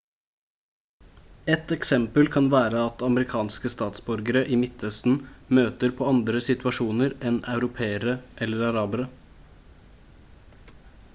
et eksempel kan være at amerikanske statsborgere i midtøsten møter på andre situasjoner enn europeere eller arabere